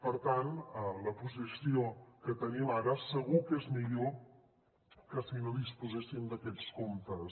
per tant la posició que tenim ara segur que és millor que si no disposéssim d’aquests comptes